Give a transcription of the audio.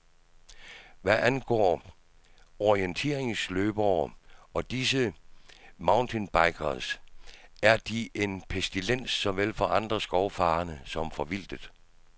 Og hvad angår orienteringsløbere og disse mountainbikers, er de en pestilens såvel for andre skovfarende og for vildtet.